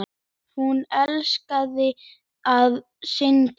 Hún elskaði að syngja.